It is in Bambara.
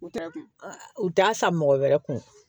U t'a kun u t'a san mɔgɔ wɛrɛ kun